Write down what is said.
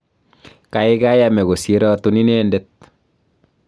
kaikai ame kosir atun ine det